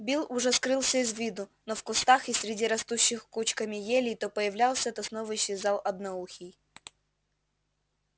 билл уже скрылся из виду но в кустах и среди растущих кучками елей то появлялся то снова исчезал одноухий